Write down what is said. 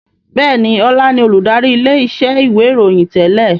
Bẹ́ẹ̀ni, Ọlá ni olùdarí ilé iṣẹ́ ìwé ìròyìn yí tẹ́lẹ̀